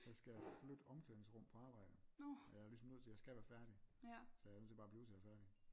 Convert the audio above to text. Der skal jeg flytte omklædningsrum på arbejde og jeg er ligesom nødt til jeg skal være færdig så jeg er nødt til bare at blive til jeg er færdig